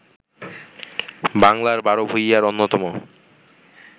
বাংলার বার ভূঁইঞার অন্যতম